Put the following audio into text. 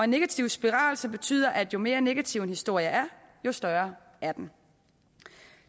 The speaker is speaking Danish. negativ spiral som betyder at jo mere negativ en historie er jo større er den